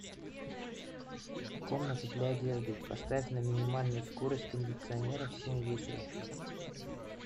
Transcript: комната для одежды поставь на минимальную скорость кондиционера в семь вечера